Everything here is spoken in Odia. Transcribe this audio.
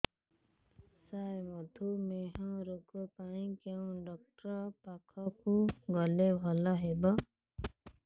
ସାର ମଧୁମେହ ରୋଗ ପାଇଁ କେଉଁ ଡକ୍ଟର ପାଖକୁ ଗଲେ ଭଲ ହେବ